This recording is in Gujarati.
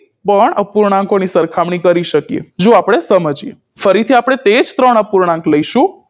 પણ અપૂર્ણાંકોની સરખામણી કરી શકીએ જો આપણે સમજીએ ફરી થી આપણે તેજ ત્રણ અપૂર્ણાંક લઈશું